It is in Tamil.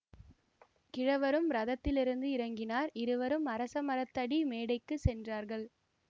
கிழவரும் ரதத்திலிருந்து இறங்கினார் இருவரும் அரசமரத்தடி மேடைக்குச் சென்றார்கள்